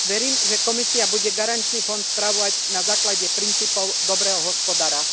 Verím, že Komisia bude garančný fond spravovať na základe princípov dobrého hospodára.